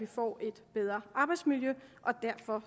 får et bedre arbejdsmiljø og derfor